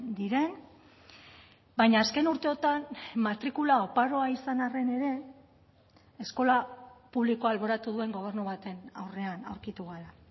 diren baina azken urteotan matrikula oparoa izan arren ere eskola publikoa alboratu duen gobernu baten aurrean aurkitu gara